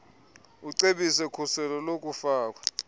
acebise khuselo lokufakwa